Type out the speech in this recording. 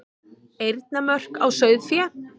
Eyrnamörk á sauðfé.